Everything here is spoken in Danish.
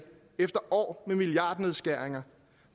efter år med milliardnedskæringer